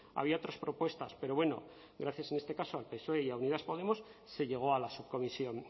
había otras propuestas pero bueno gracias en este caso al psoe y a unidas podemos se llegó a la subcomisión